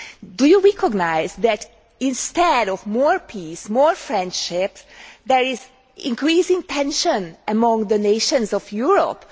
Do you recognise that instead of more peace, more friendship there is increasing tension among the nations of Europe?